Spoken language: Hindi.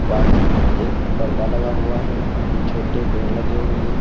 बाहर एक पर्दा लगा हुआ है कुछ छोटे पेड़ लगे हुए हैं।